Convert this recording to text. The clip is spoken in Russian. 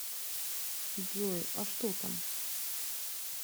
джой а что там